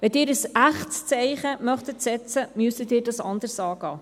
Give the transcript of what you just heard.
Wenn Sie ein echtes Zeichen setzen wollten, müssten Sie dies anders angehen.